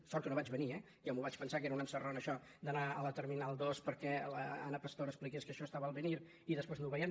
sort que no vaig venir eh ja m’ho vaig pensar que era una encerronaaixò d’anar a la terminal t dos perquè l’ana pastor expliqués que això estaba al venir i després no ho veiem